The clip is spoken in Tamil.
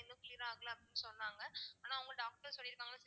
இன்னும் cure ஆகல அப்படினு சொன்னாங்க ஆனா அவுங்க doctor சொல்லிருக்காங்க